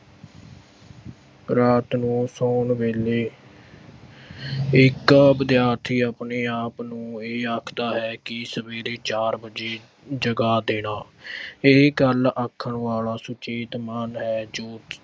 ਰਾਤ ਨੂੰ ਸੌਣ ਵੇਲੇ ਇੱਕ ਵਿਦਿਆਰਥੀ ਆਪਣੇ ਆਪ ਨੂੰ ਇਹ ਆਖਦਾ ਹੈ ਕਿ ਸਵੇਰੇ ਚਾਰ ਵਜੇ ਜਗਾ ਦੇਣਾ ਇਹ ਗੱਲ ਆਖਣ ਵਾਲਾ ਸੁਚੇਤ ਮਨ ਹੈ ਜੋ ਕਿ